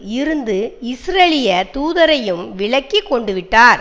இருந்த இஸ்ரேலிய தூதரையும் விலக்கி கொண்டுவிட்டார்